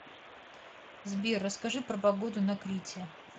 сбер расскажи про погоду на крите